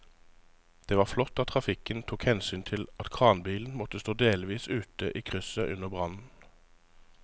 Det var flott at trafikken tok hensyn til at kranbilen måtte stå delvis ute i krysset under brannen.